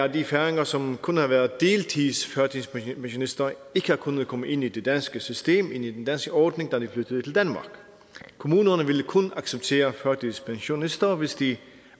at de færinger som kun har været deltidsførtidspensionister ikke har kunnet komme ind i det danske system ind i den danske ordning da de flyttede til danmark kommunerne ville kun acceptere førtidspensionister hvis de